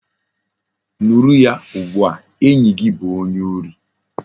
Nuru ya ugbua! enyi gi bu onye ori